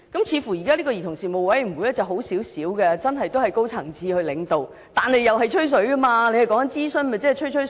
似乎現在的兒童事務委員會比較好一點，真的由高層次領導，但仍是"吹水"，因為政府說的是屬諮詢性質，不又是"吹吹水"？